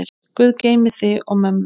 Guð geymi þig og mömmu.